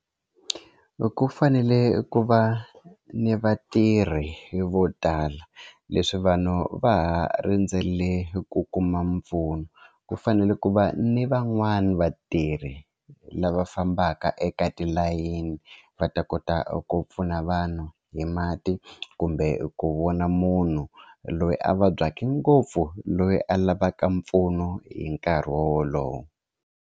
Ku fanele ku va ni vatirhi vo tala leswi vanhu va ha rindzele ku kuma mpfuno ku fanele ku va ni van'wani vatirhi lava fambaka eka tilayini va ta kota ku pfuna vanhu hi mati kumbe ku vona munhu loyi a vabyaka ngopfu loyi a lavaka mpfuno hi nkarhi wowolowo.